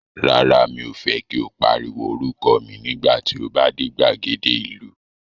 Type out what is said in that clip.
Rárá, mi ò fẹ́ kí o pariwo orúkọ mi nígbà tí o bá dé gbàgede ìlú.